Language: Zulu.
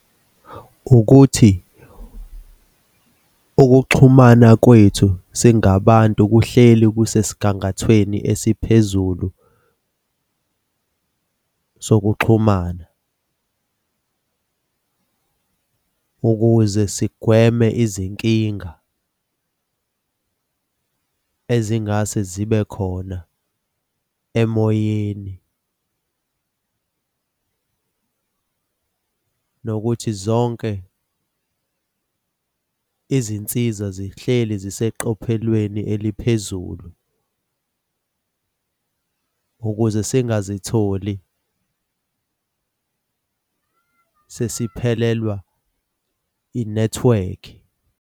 Ukuthi ukuxhumana kwethu singabantu kuhleli kusesigangathweni esiphezulu sokuxhumana ukuze sigweme izinkinga ezingase zibe khona emoyeni nokuthi zonke izinsiza zihleli ziseqophelweni eliphezulu ukuze singazitholi sesiphelelwa inethiwekhi.